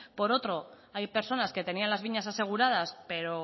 por otro hay personas que tenían las viñas asegurados pero